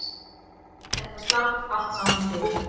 Þetta slapp allt saman til